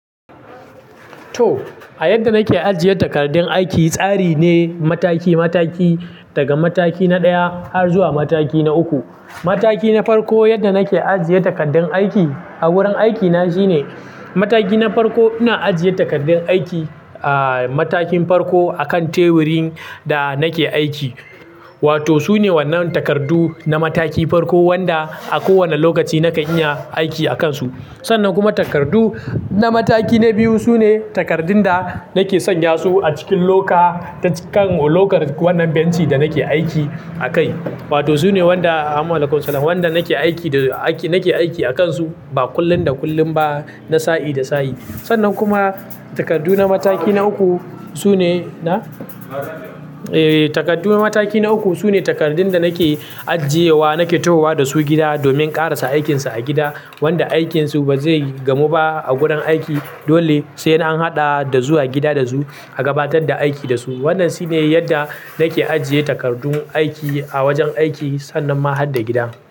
To, a yadda nake ajiye takardun aiki, tsari ne mataki-mataki, daga mataki na ɗaya har zuwa mataki na uku. Mataki na farko yadda nake ajiye takardun aiki a wurin aikina shine mataki na farko, ina ajiye takardun aiki, ah, matakin farko akan teburin da nake aiki. Wato sune wannan takardu na mataki farko wanda a kowane lokaci nakan iya aiki akansu. Sannan kuma takardu na mataki na biyu sune takardun da nake sanya su a cikin loka, kan lokan wannan benci da nake aiki a kai. Wato sune wanda wanda nake aiki da, nake aiki akansu ba kullun da kullun ba, na sa'i da sa'i. Sannan kuma takardu na mataki na uku sune, na? E, takardu na mataki na uku sune takardun da nake ajiyewa, nake tahowa da su gida domin ƙarasa aikinsa a gida wanda aikinsu ba zai gamu ba a gurin aiki, dole sai an haɗa da zuwa gida da su a gabatar da aiki da su. Wannan shine yadda nake ajiye takardu aiki a wajen aiki sannan ma har da gida.